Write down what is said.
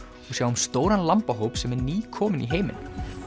og sjáum stóran sem er nýkominn í heiminn